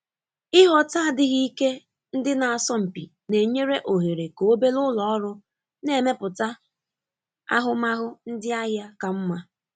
Ịghọta adighị ike ndị na-asọ mpi na-enye òhèrè ka obere ụlọ ọrụ na-emepụta ahụmahụ ndị ahịa ka mma.